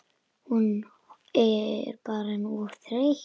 Hún bara orðin of þreytt.